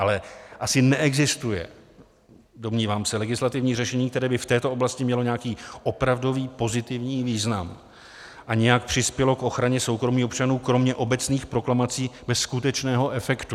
Ale asi neexistuje, domnívám se, legislativní řešení, které by v této oblasti mělo nějaký opravdový pozitivní význam a nějak přispělo k ochraně soukromí občanů, kromě obecných proklamací bez skutečného efektu.